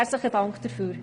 Herzlichen Dank dafür.